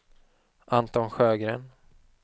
Anton Sjögren